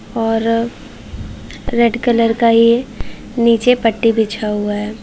और red colour का ये नीचे पट्टी बिछा हुआ है।